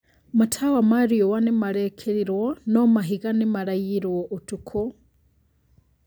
Matawa ma riũa nĩmarekĩrirwo no mahiga nĩmaraiirwo ũtukũ